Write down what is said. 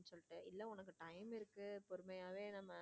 இல்ல உனக்கு time இருக்கு பொறுமையாவே நம்ம.